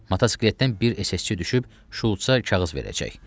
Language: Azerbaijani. Motosikletdən bir SS-çi düşüb Şulça kağız verəcək.